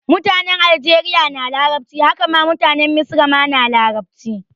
Mutane aljeriya na larabci, haka ma mutanen misra ma na larabci